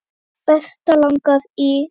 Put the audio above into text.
Berta langar í.